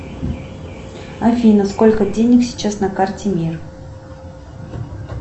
афина сколько денег сейчас на карте мир